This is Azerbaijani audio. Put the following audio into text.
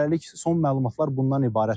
Hələlik son məlumatlar bundan ibarətdir.